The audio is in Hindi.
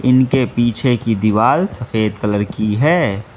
इनके पीछे की दीवाल सफ़ेद कलर की है।